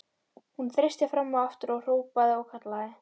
Hún þeysti fram og aftur og hrópaði og kallaði.